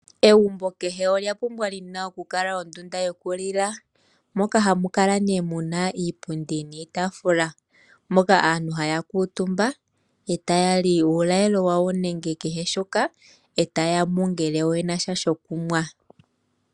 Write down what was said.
Egumbo kehe olya pumbwa li na okukala ondunda yokulila moka hamu kala nee mu na iipundi niitafula moka aantu haya kuutumba e taya li uulalelo wawo nenge kehe shoka, e taya nu ngele oye na sha shokunwa.